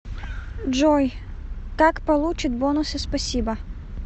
джой как получит бонусы спасибо